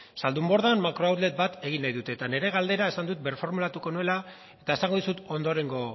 zaldunbordan makrooutlet bat egin nahi dute eta nire galdera esan dut birformulatuko nuela eta esango dizut ondorengo